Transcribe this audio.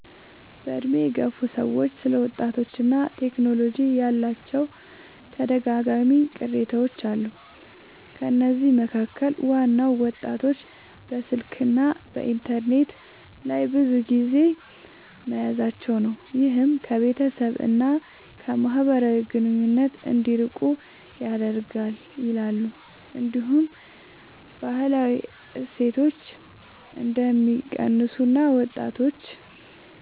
በዕድሜ የገፉ ሰዎች ስለ ወጣቶችና ቴክኖሎጂ ያላቸው ተደጋጋሚ ቅሬታዎች አሉ። ከነዚህ መካከል ዋናው ወጣቶች በስልክና በኢንተርኔት ላይ ብዙ ጊዜ መያዛቸው ነው፤ ይህም ከቤተሰብ እና ከማህበራዊ ግንኙነት እንዲርቁ ያደርጋል ይላሉ። እንዲሁም ባህላዊ እሴቶች እንደሚቀንሱ እና ወጣቶች